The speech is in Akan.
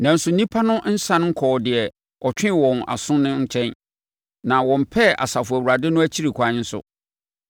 Nanso nnipa no nsane nkɔɔ deɛ ɔtwee wɔn aso no nkyɛn, na wɔmmpɛɛ Asafo Awurade no akyiri kwan nso.